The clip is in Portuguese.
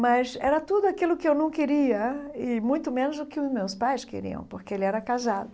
Mas era tudo aquilo que eu não queria e muito menos o que os meus pais queriam, porque ele era casado.